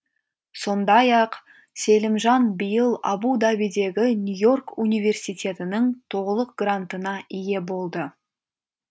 сондай ақ селимжан биыл абу дабидегі нью и орк университетінің толық грантына ие болды